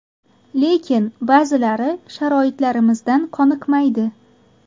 Lekin ba’zilari sharoitlarimizdan qoniqmaydi.